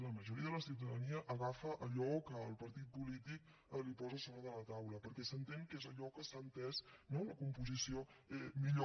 la majoria de la ciutadania agafa allò que el partit polític li posa a sobre de la taula perquè s’entén que és allò que s’ha entès no la composició millor